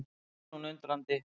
spyr hún undrandi.